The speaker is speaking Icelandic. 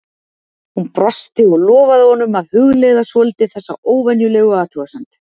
Hún brosti og lofaði honum að hugleiða svolítið þessa óvenjulegu athugasemd.